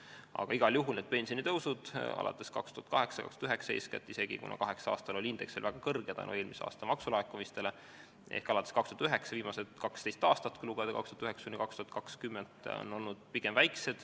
Aga igal juhul pensionitõus alates 2008. või 2009. aastast ehk viimased 12 aastat, kui lugeda ajavahemikuks 2009–2020, on olnud pigem väike.